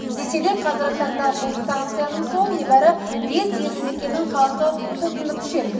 десе де қазіргі таңда бұл станцияның суын небары бес елді мекеннің халқы тұтынып ішеді